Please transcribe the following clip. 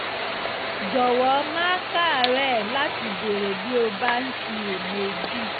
jọ̀wọ́ má káàárẹ̀ láti béèrè bí o bá ń ṣiyèméjì